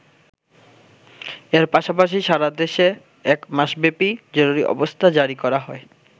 এর পাশাপাশি সারা দেশে এক মাসব্যাপী জরুরি অবস্থা জারি করা হয়।